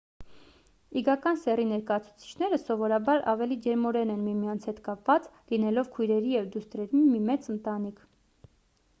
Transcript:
իգական սեռի ներկայացուցիչները սովորաբար ավելի ջերմորեն են միմյանց հետ կապված լինելով քույրերի և դուստրերի մի մեծ ընտանիք